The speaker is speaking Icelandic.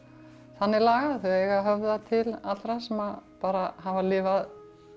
þannig lagað þau eiga að höfða til allra sem bara hafa lifað